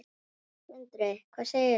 Sindri: Hvað segirðu?